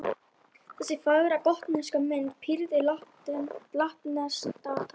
Þessi fagra gotneska mynd prýðir latneskt dagatal.